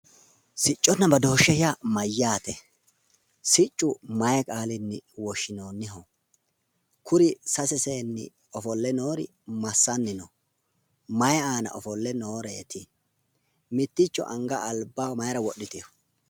Sicconna badooshshe yaa mayyaate? Siccu mayi qaalinni woshshinoonniho? Kuri sase seenni ofolle noori massanni no? Mayi aana ofolle nooreeti? Mitticho anga albaho mayira wodhitino?